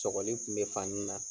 Sɔgɔli kun be fan min na